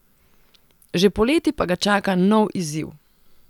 Že poleti pa ga čaka nov izziv.